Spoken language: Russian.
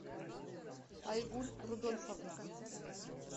айгуль рудольфовна